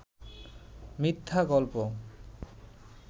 মিথ্যা গল্প